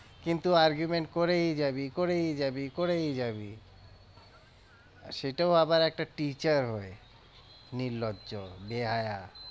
কিন্তু argument করেই যাবি করেই যাবি করেই যাবি, সেটাও আবার একটা teacher হয়ে, নির্লজ্জ বেহায়া।